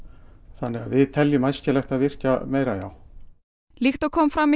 þannig að við teljum æskilegt að virkja meira já líkt og kom fram í